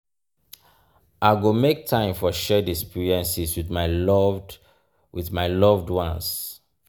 i go make time for shared experiences with my loved with my loved ones.